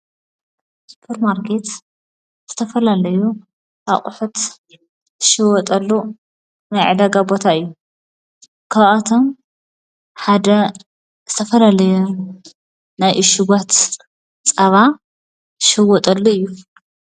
ስጵር ማርቄት ዝተፈለለዩ ኣቝሕት ሽወጠሉ መይዕዳ ጋቦታ እዩ ካብኣቶም ሓደ ዝተፈለለዩ ናይ እሽጓት ጸባ ሽወጠሉ እዩ።